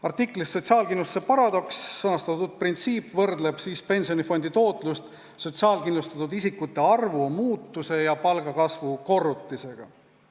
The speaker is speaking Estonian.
Artiklis "Sotsiaalkindlustuse paradoks" sõnastatud printsiip võrdleb pensionifondi tootlust sotsiaalkindlustatud isikute arvu muutuse ja palgakasvu korrutisega.